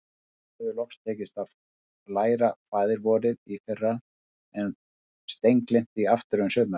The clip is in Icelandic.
Stjána hafði loks tekist að læra Faðir-vorið í fyrra, en steingleymt því aftur um sumarið.